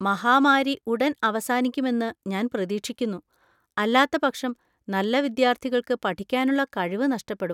മഹാമാരി ഉടൻ അവസാനിക്കുമെന്ന് ഞാൻ പ്രതീക്ഷിക്കുന്നു, അല്ലാത്തപക്ഷം നല്ല വിദ്യാർത്ഥികൾക്ക് പഠിക്കാനുള്ള കഴിവ് നഷ്ടപ്പെടും.